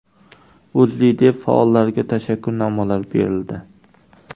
O‘zLiDeP faollariga tashakkurnomalar berildi.